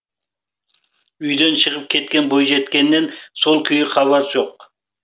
үйден шығып кеткен бойжеткеннен сол күйі хабар жоқ